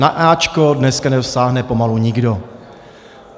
Na áčko dneska nedosáhne pomalu nikdo.